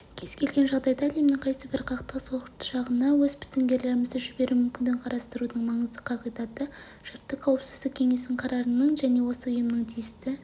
кез-келген жағдайда әлемнің қайсыбір қақтығыс ошағына өз бітімгерлерімізді жіберу мүмкіндігін қарастырудың маңызды қағидатты шарты қауіпсіздік кеңесінің қарарының және осы ұйымның тиісті